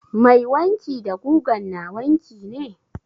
Mai wanki da gugan na wanki ne?